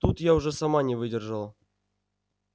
тут я уже сама не выдержала